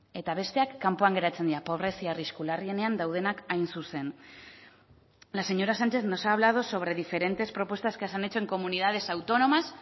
eta besteak kanpoan geratzen dira pobrezia arrisku larrienean daudenak hain zuzen la señora sánchez nos ha hablado sobre diferentes propuestas que se han hecho en comunidades autónomas